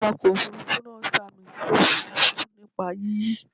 Awakọ̀ Òfurufú náà sàmì sí òfuurufú nípa yíyí.